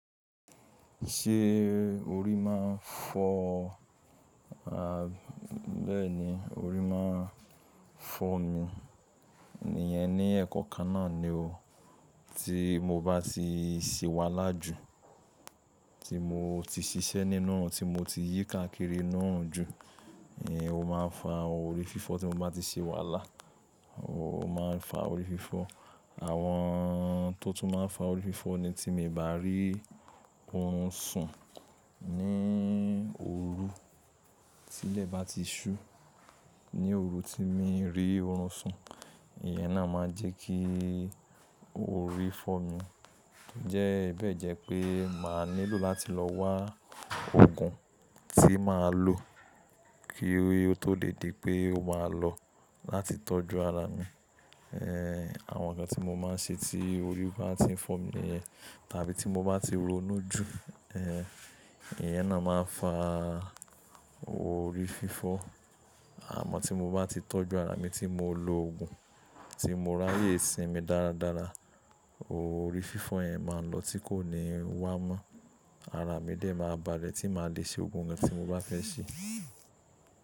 Ṣé orí máa ń fọ́ ọ? Bẹ́ẹ̀ni, orí máa ń fọ́ mi. Ìyẹn ni ẹ̀kan kan náà ni o. Tí mo bá ti ṣìwàlá jù, tí mo ti ṣiṣẹ́ nínú òrun, tí mo ti yí káàkiri nínú òrun jù, eh, ó máa ń fa orí fífọ́ tí mo bá ti ṣìwàlá. Ó máa ń fa orí fífọ́. Àwọn tó tún máa ń fa orí fífọ́ ni tí mi bá rí oorun sùn ní òru. Tí ilẹ̀ bá ti ṣú, ní òru tí mo rí oorun sùn, ìyẹn náà máa ń jẹ́ kí orí fọ́ mi. Ǹjẹ́ bẹ́ẹ̀ jẹ́ pé màá nílò láti lọ wá òògùn tí màá lò kí ó tó lè di pé ó máa lọ láti tọ́jú ara mi. Eh, àwọn nǹkan tí mo máa ń ṣe tí orí bá tí ń fọ́ mi nìyẹn. Tàbí tí mo bá ti ronú jù, eh, ìyẹn náà máa ń fa orí fífọ́. Àmọ́ tí mo bá ti tọ́jú ara mi tí mo lo òògùn, tí mo ráyè sinmi dáradára, orí fífọ́ yẹn máa ń lọ tí kò ní wá mọ́. Ara mi dè ẹ máa balẹ̀ tí màá le ṣe òògùn kan tí mo bá fẹ́ ṣe.